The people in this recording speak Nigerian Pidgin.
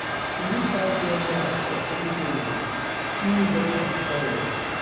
to reach five-year mark of steady savings feel very satisfying.